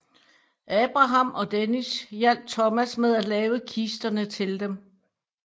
Abraham og Dennis hjalp Thomas med at lave kisterne til dem